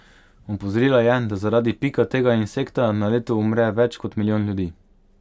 Opozorila je, da zaradi pika tega insekta na leto umre več kot milijon ljudi.